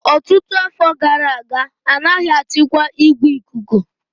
Ọtụtụ afọ gara aga, a naghị achịkwa igwe ikuku